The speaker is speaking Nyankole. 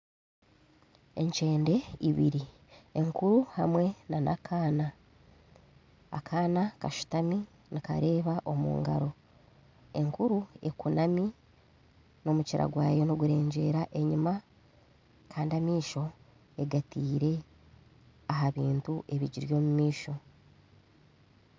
Enkyende ibiri enkuru hamwe nana akaana , akaana kashutami nikareba omu ngaro enkuru ekunami na omukira gwayo nigurengyera enyima Kandi amaisho egateire aha bintu ebigiri omu maisho.